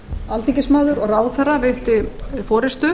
alþingismaður og ráðherra veitti forustu